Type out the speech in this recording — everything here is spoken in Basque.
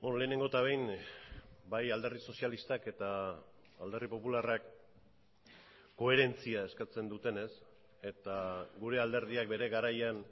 lehenengo eta behin bai alderdi sozialistak eta alderdi popularrak koherentzia eskatzen dutenez eta gure alderdiak bere garaian